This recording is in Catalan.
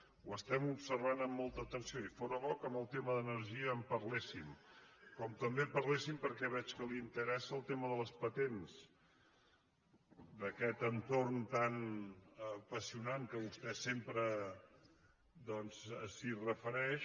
ho observem amb molta atenció i fóra bo que del te·ma d’energia en parléssim com també que parléssim perquè veig que li interessa del tema de les patents d’aquest entorn tan apassionant que vostè sempre s’hi refereix